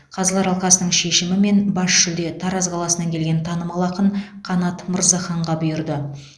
қазылар алқасының шешімімен бас жүлде тараз қаласынан келген танымал ақын қанат мырзаханға бұйырды